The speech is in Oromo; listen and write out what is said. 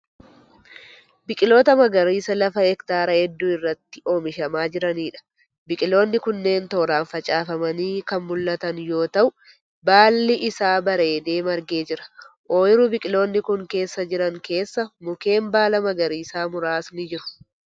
Biqiloota magariisa lafa hektaara hedduu irratti oomishamaa jiraniidha. Biqiloonni kunneen tooraan facaafamanii kan mul'atan yoo ta'u baalli isaa bareedee margee jira. Oyiruu biqiloonni kun keessa jiran keessa mukeen baala magariisaa muraasni jiru.